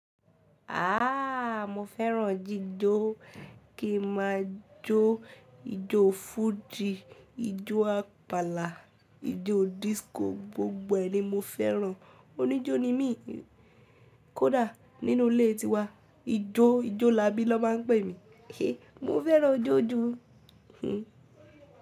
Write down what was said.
Aaa mo fẹ́ràn jíjó. Kí n ma jó ijó fújì, ijó àpàlà, ijó disco, gbogbo ẹ̀ ni mo fẹ́ràn. Oníjó ni mí. Kódà nínú ilé tiwa, ijó, ijólabí lọ má ń pè mí. E mo fẹ́ràn ijó jú.